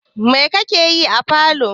Mai kake yi a falo?